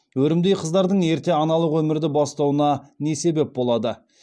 өрімдей қыздардың ерте аналық өмірді бастауына не себеп болады